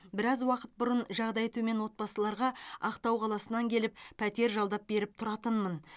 біраз уақыт бұрын жағдайы төмен отбасыларға ақтау қаласынан келіп пәтер жалдап беріп тұратынмын